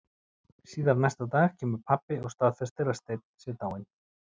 Síðar næsta dag kemur pabbi og staðfestir að Steinn sé dáinn.